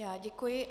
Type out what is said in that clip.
Já děkuji.